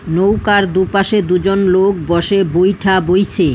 নৌকার দুপাশে দুজন লোক বসে বৈঠা বইসে।